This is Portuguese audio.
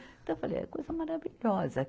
Então, falei, é coisa maravilhosa.